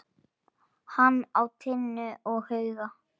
Hann á Tinnu og Huga.